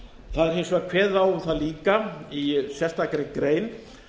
það er hins vegar kveðið á um það líka í sérstakri grein